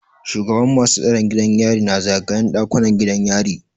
Shugaban masu tsaron gidan yari na zagayen ɗakunan gidan yari.